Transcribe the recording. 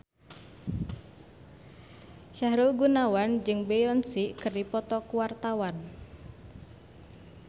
Sahrul Gunawan jeung Beyonce keur dipoto ku wartawan